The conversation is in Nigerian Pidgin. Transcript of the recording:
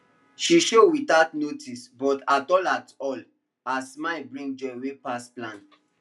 she show without notice but at all atall her smile bring joy wey pass plan